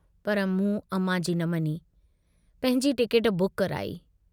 पर मूं अमां जी न मञी, पंहिंजी टिकेट बुक कराई।